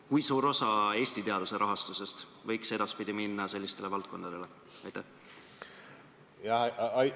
Kui suur osa Eesti teaduse rahastusest võiks edaspidi minna sellistele valdkondadele?